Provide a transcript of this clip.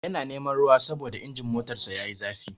Yana neman ruwa saboda injin motarsa yayi zafi.